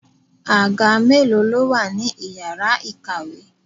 Àga mélòó ló wà ní ìyára ìkàwé?